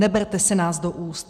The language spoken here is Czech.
Neberte si nás do úst!